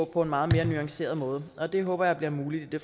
på en meget mere nuanceret måde og det håber jeg bliver muligt i